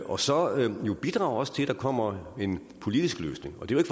og så også bidrage til at der kommer en politisk løsning og det er